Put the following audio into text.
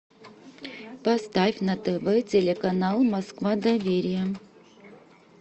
поставь на тв телеканал москва доверие